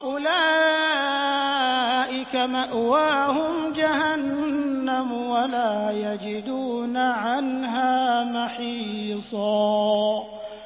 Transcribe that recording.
أُولَٰئِكَ مَأْوَاهُمْ جَهَنَّمُ وَلَا يَجِدُونَ عَنْهَا مَحِيصًا